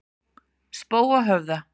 Spóahöfða